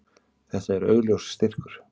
Þetta er augljós styrkur.